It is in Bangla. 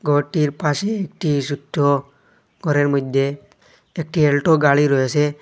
গরটির পাশে একটি সোট্ট গরের মইদ্যে একটি এলটো গাড়ি রয়েসে।